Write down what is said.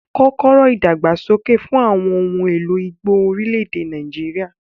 Kọ́kọ́rọ́ ìdàgbàsókè fún àwọn ohun èlò igbó orílẹ̀-èdè Nàìjíríà.